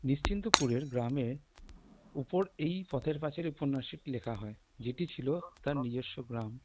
নিশ্চিন্তপুরের গ্রামের ওপর এই পথের পাঁচালি উপন্যাসটি লেখা হয় যেটি ছিল তার নিজস্ব গ্রাম